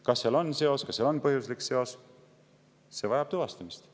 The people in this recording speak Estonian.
Kas seal on seos, kas seal on põhjuslik seos, see vajab tuvastamist.